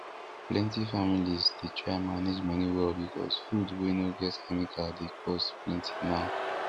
plenty families dey try manage money well because food wey no get chemical dey cost plenty now